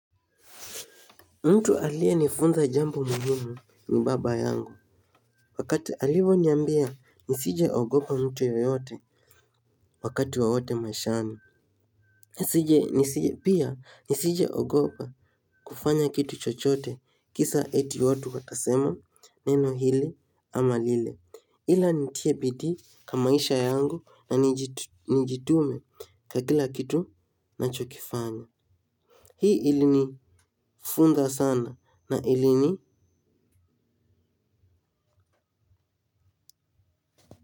Mtu alienifunza jambo muhimu ni baba yangu. Wakati alivoniambia nisijeogopa mtu yoyote wakati wowote maishani. Pia nisijeogopa kufanya kitu chochote kisa eti watu watasema neno hili ama lile ila nitie bidii kwa maisha yangu na nijitume kwa kila kitu nachokifanya. Hii ilinifunza sana na ilini.